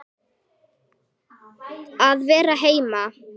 Að vera heima.